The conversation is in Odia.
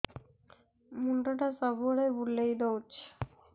ମୁଣ୍ଡଟା ସବୁବେଳେ ବୁଲେଇ ଦଉଛି